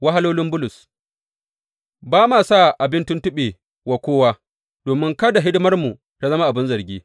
Wahalolin Bulus Ba ma sa abin tuntuɓe wa kowa, domin kada hidimarmu ta zama abin zargi.